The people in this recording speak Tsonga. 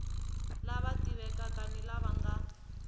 lava tivekaka ni lava nga